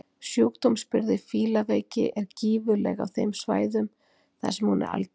Sjúkdómsbyrði fílaveiki er gífurleg á þeim svæðum þar sem hún er algeng.